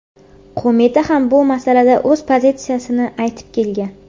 Qo‘mita ham bu masalada o‘z pozitsiyasini aytib kelgan.